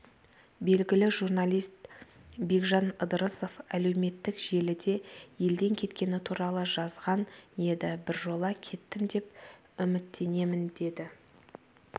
белгілі журналист бекжан ыдырысов әлеуметтік желіде елден кеткені туралы жазған еді біржола кеттім деп үміттенемін деді